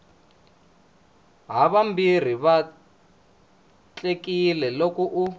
havambirhi va vatlekile loko u